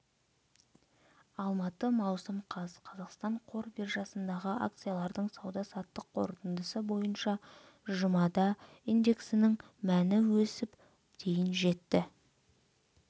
алматы маусым қаз қазақстан қор биржасындағы акциялардың сауда-саттық қорытындысы бойынша жұмада индексінің мәні өсіп дейін жетті